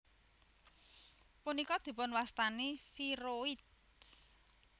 Punika dipunwastani viroid